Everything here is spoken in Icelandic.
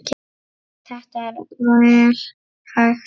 Þetta er vel hægt.